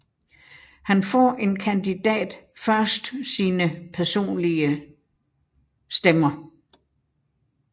Her får en kandidat først sine personlige stemmer